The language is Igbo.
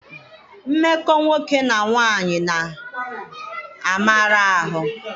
Mmekọ nwoke na nwaanyị na-amara ahụ.